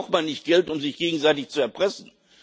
Da braucht man nicht Geld, um sich gegenseitig zu erpressen.